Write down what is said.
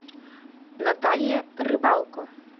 наталья рыбалко